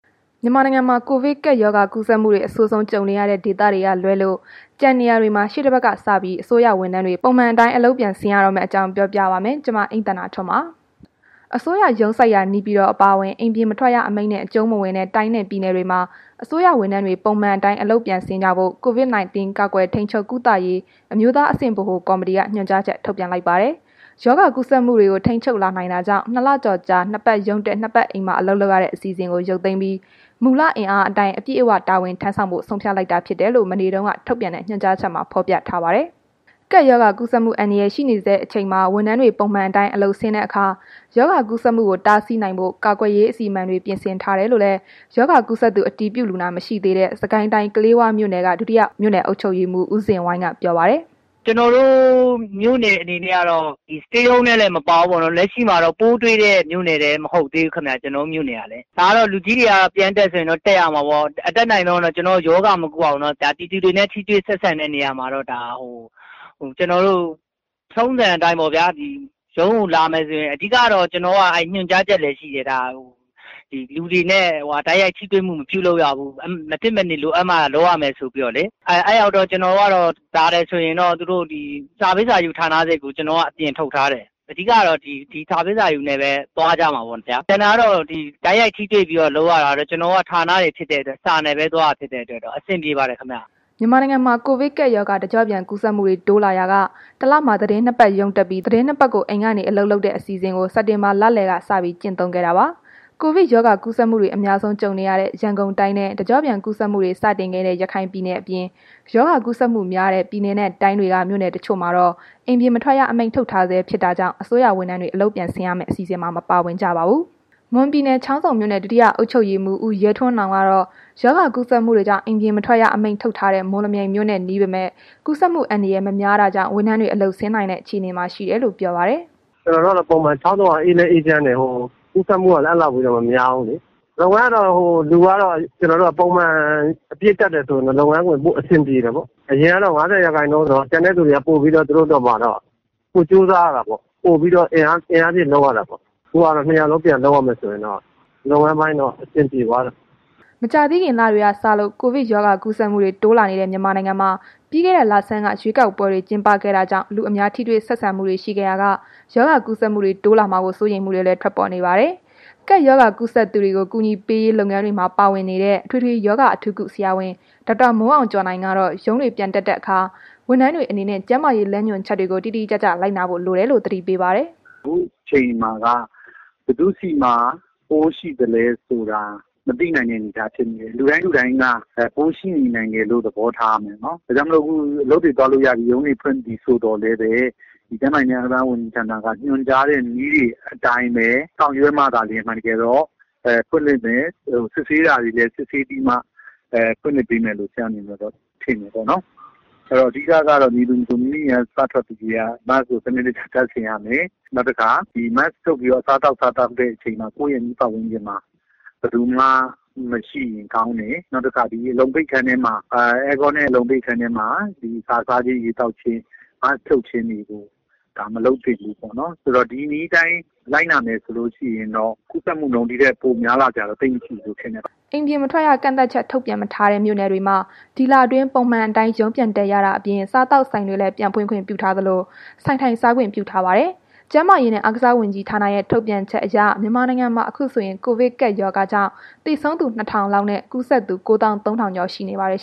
မြန်မာနိုင်ငံမှာ ကိုဗစ်ကပ်ရောဂါ ကူးစက်မှုတွေ အဆိုးဆုံး ကြုံနေရတဲ့ ဒေသတွေကလွဲလို့ ကျန်နေရာတွေမှာ ရှေ့တပတ်ကစပြီး အစိုးရဝန်ထမ်းတွေ ပုံမှန်အတိုင်း အလုပ်ပြန်ဆင်းရတော့မယ့်အကြောင်းကို ဗွီအိုအေမြန်မာပိုင်း သတင်းထောက် မအိမ့်သန္တာထွန်းက ပြောပြပေးပါမယ်။ အစိုးရရုံးစိုက်ရာ နေပြည်တော် အပါအဝင် အိမ်ပြင်မထွက်ရ အမိန့်နဲ့ အကျုံးမဝင်တဲ့ တိုင်းနဲ့ပြည်နယ်တွေမှာ အစိုးရဝန်ထမ်းတွေ ပုံမှန်အတိုင်း အလုပ်ပြန်ဆင်းကြဖို့ COVID 19 ကာကွယ်ထိန်းချုပ် ကုသရေးအမျိုးသားအဆင့် ဗဟိုကော်မတီက ညွှန်ကြားချက် ထုတ်ပြန်လိုက်တာပါ။ ရောဂါကူးစက်မှုတွေကို ထိန်းချုပ်လာနိုင်တာကြောင့် ၂ လကျော်ကြာ နှစ်ပတ်ရုံးတက်၊ နှစ်ပတ် အိမ်မှာ အလုပ်လုပ်ရတဲ့ အစီအစဉ်ကို ရုပ်သိမ်းပြီး မူလအင်အားအတိုင်း အပြည့်အဝ တာဝန်ထမ်းဆောင်ဖို့ ဆုံးဖြတ်လိုက်တာ ဖြစ်ကြောင်းလည်း မနေ့တုန်းက ထုတ်ပြန်တဲ့ ညွှန်ကြားချက်မှာ ဖော်ပြထားပါတယ်။ ကပ်ရောဂါကူးစက်မှု အန္တရာယ် ရှိနေဆဲ အချိန်မှာ ဝန်ထမ်းတွေ ပုံမှန်အတိုင်း အလုပ်ဆင်းတဲ့အခါ ရောဂါကူးစက်မှုကို တားဆီးနိုင်ဖို့ ကာကွယ်ရေး အစီအမံတွေ ပြင်ဆင်ထားတယ်လို့လည်း ရောဂါကူးစက်သူ အတည်ပြုလူနာ မရှိသေးတဲ့ စစ်ကိုင်းတိုင်း၊ ကလေးဝမြို့နယ် ဒုတိယ အုပ်ချုပ်ရေးမှူး ဦးဇင်ဝိုင်းက ပြောပါတယ်။ “ကျနော်တို့ မြို့နယ် အနေနဲ့ကတော့ Stay Home ထဲလည်း မပါဘူး၊ လက်ရှိမှာ ပိုးတွေ့တဲ့မြို့နယ်လည်း မဟုတ်သေးဘူးခင်ဗျ... ကျနော်တို့ မြို့နယ်က။ ဒါက လူကြီးတွေက ပြန်တက်ဆိုရင်တော့ တက်ရမှာပေါ့။ အတတ်နိုင်ဆုံးတော့ ရောဂါမကူးအောင်တော့ ပြည်သူတွေနဲ့ ထိတွေ့ဆက်ဆံတဲ့နေရာမှာတော့ ထုံးစံအတိုင်းပေါ့။ ပြီးတော့ ရုံးကိုလာမယ်ဆိုရင် ညွှန်ကြားချက်လည်းရှိတယ်။ လူတွေနဲ့ တိုက်ရိုက်ထိတွေမှု မပြုလုပ်ရဘူး။ မဖြစ်အနေလိုအပ်မှ လုပ်ရမယ်ဆိုပြီးတော့လေ။ လာတယ်ဆိုရင် စာပေးစာယူ ဌာနစိတ်ကို ကျနော်က အပြင်ထုတ်ထားတယ်။ အဓိကကတော့ ဒီစာပေးစာယူနဲ့ပဲ သွားကြမှာပေါ့ဗျာ။ ကျန်တာတော့ တိုက်ရိုက်ထိတွေ့ပြီးလုပ်ရတာကတော့ ကျနော်တို့က ဌာနတွေဖြစ်တဲ့အတွက် စာနဲ့ပဲသွားတာဖြစ်တဲ့အတွက် အဆင်ပြေပါတယ်ခင်ဗျ။” မြန်မာနိုင်ငံမှာ ကိုဗစ်ကပ်ရောဂါ တကျော့ပြန် ကူးစက်မှုတွေ တိုးလာရာက ၁ လမှာ သီတင်း ၂ ပတ် ရုံးတက်ပြီး၊ သီတင်း ၂ ပတ်ကို အိမ်ကနေ အလုပ်လုပ်တဲ့ အစီအစဉ်ကို စက်တင်ဘာလလယ်က စပြီး ကျင့်သုံးခဲ့တာပါ။ ကိုဗစ်ရောဂါကူးစက်မှုတွေ အများဆုံး ကြုံနေရတဲ့ ရန်ကုန်တိုင်းနဲ့ တကျော့ပြန်ကူးစက်မှုတွေ စတင်ခဲ့တဲ့ ရခိုင်ပြည်နယ် အပြင် ရောဂါကူးစက်မှုများတဲ့ ပြည်နယ်နဲ့တိုင်းတွေက မြို့နယ်တချို့မှာတော့ အိမ်ပြင်မထွက်ရ အမိန့်ထုတ်ထားဆဲ ဖြစ်တာကြောင့် အစိုးရဝန်ထမ်းတွေ အလုပ်ပြန်ဆင်းရမယ့် အစီအစဉ်မှာ မပါဝင်ကြပါဘူး။ မွန်ပြည်နယ် ချောင်းဆုံမြို့နယ် ဒုတိယအုပ်ချုပ်ရေးမှူး ဦးရဲထွန်းနောင်ကတော့ ရောဂါကူးစက်မှုတွေကြောင့် အိမ်ပြင်မထွက်ရ အမိန့်ထုတ်ထားတဲ့ မော်လမြိုင်မြို့နဲ့ နီးပေမဲ့ ကူးစက်မှုအန္တရာယ် မများတာကြောင့် ဝန်ထမ်းတွေ အလုပ်ဆင်းနိုင်တဲ့ အခြေအနေမှာ ရှိတယ်လို့ ပြောပါတယ်။ “ကျနော်တို့ကတော့ ပုံမှန် ချောင်းဆုံကတော့ အေးလည်းအေးချမ်းတယ်။ ကူးစက်မှုကလည်း အဲ့ဒီလောက်ထိလည်း မများဘူးလေ။ လုပ်ငန်းကတော့ လူကတော့ ပုံမှန် အပြည့်တက်တယ်ဆိုရင်တော့ လုပ်ငန်းက ပိုအဆင်ပြေတာပေါ့။ အရင်တုန်းက ၅၀ ရာခိုင်နှုန်းဆိုတော့ ကျန်တဲ့သူတွေက သူတို့အတွက်ပါ ပိုကြိုးစားရတာပေါ့။ ပိုအင်အားထည့်လုပ်ရတာပေါ့။ ခုက အားလုံးပြန်လုပ်ရမယ်ဆိုရင်တော့ လုပ်ငန်းပိုင်း အဆင်ပြေသွားတယ်။” မကြာသေးခင်က လတွေ စလို့ ကိုဗစ်ရောဂါကူးစက်မှုတွေ တိုးလာနေတဲ့ မြန်မာနိုင်ငံမှာ ပြီးခဲ့တဲ့လဆန်းက ရွေးကောက်ပွဲတွေ ကျင်းပခဲ့တာကြောင့် လူအများထိတွေ့ဆက်ဆံမှုတွေ ရှိခဲ့ရာက ရောဂါကူးစက်မှုတွေ တိုးလာမှာကို စိုးရိမ်မှုတွေလည်း ထွက်ပေါ်နေတာပါ။ ကပ်ရောဂါကူးစက်သူတွေကို အကူအညီပေးရေး လုပ်ငန်းတွေမှာ ပါဝင်နေတဲ့ အထွေထွေရောဂါ အထူးကု ဆရာဝန် ဒေါက်တာမိုးအောင်ကျော်နိုင်ကတော့ ရုံးပြန်ဆင်းတဲ့အခါ ဝန်ထမ်းတွေအနေနဲ့ ကျန်းမာရေး လမ်းညွှန်ချက်တွေကို တိတိကျကျ လိုက်နာဖို့ လိုတယ်လို့ သတိပေးပါတယ်။ “ခုအချိန်မှာက ဘယ်သူ့ဆီမှာ ပိုးရှိသလဲဆိုတာ မသိနိုင်တဲ့ အနေအထားဖြစ်နေတယ်။ လူတိုင်းလူတိုင်းက ပိုးရှိနေနိုင်တယ်လို့ သဘောထားရမယ်နော်။ ဒါကြောင့်မို့ အခုအလုပ်တွေသွားလို့ရပြီ၊ ရုံးတွေဖွင့်ပြီဆိုသော်လည်းပဲ ကျန်းမာရေးဝန်ကြီးဌာနက ညွှန်ကြားတဲ့ နည်းတွေအတိုင်းပဲ ဆောင်ရွက်မှသာလျှင် အမှန်တကယ်တော့ စစ်ဆေးစရာတွေလည်း စစ်ဆေးပြီးမှ ဖွင့်မယ်လို့တော့ ဆရာအနေနဲ့ ထင်တယ်ပေါ့နော်။ အဲ့ဒီတော့ အဓိကကတော့ မည်သူမဆို မိမိအိမ်က စထွက်ပြီးကတည်းက Mask ကို စနစ်တ ကျတပ်ဆင်ရမယ်။ နောက်တစ်ခါ Mask ချွတ်ပြီးတော့ အစားသောက်စားတဲ့အခါ ကိုယ့်ရဲ့ အနီးပတ်ဝန်းကျင်မှာ ဘယ်သူမှ မရှိရင်ကောင်းတယ်။ နောက်တစ်ခါ အဲကွန်းနဲ့ အလုံပိတ်အခန်းထဲမှာ အစာစားခြင်း၊ ရေသောက်ခြင်းတွေကို Mask ဖြုတ်ခြင်းတွေကို မလုပ်သင့်ဘူးပေါ့နော်။ ဒါဆို ဒီနည်းအတိုင်း လိုက်နာမယ်ဆိုလို့ရှိရင်တော့ ကူးစက်မှုနှုန်း ဒီထက်များလာစရာမရှိပါဘူး။” အိမ်ပြင်မထွက်ရ ကန့်သတ်ချက် ထုတ်ပြန်မထားတဲ့ မြို့နယ်တွေမှာ ဒီလအတွင်း ပုံမှန်အတိုင်းရုံးပြန်တက်ရတာအပြင် စားသောက်ဆိုင်တွေလည်း ပြန်ဖွင့်ခွင့်ပြုထားသလို၊ ဆိုင်ထိုင်စားခွင့်ပြုထားပါတယ်။ ကျန်းမာရေးနဲ့ အားကစားဝန်ကြီးဌာနရဲ့ ထုတ်ပြန်ချက်အရ မြန်မာနိုင်ငံမှာ အခုဆိုရင် ကိုဗစ်ကပ်ရောဂါကြောင့် သေဆုံးသူ ၂,၀၀၀ လောက်နဲ့ ကူးစက်သူ ၉၃,၀၀၀ ကျော်ရှိနေပါတယ်